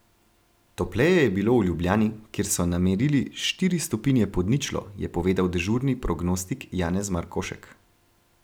Topleje je bilo v Ljubljani, kjer so namerili štiri stopinje pod ničlo, je povedal dežurni prognostik Janez Markošek.